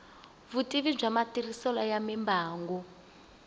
vutivi bya matirhiselo ya mimbangu